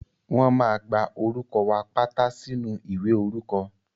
Wọ́n máa gba orúkọ wa pátá sínú ìwé orúkọ.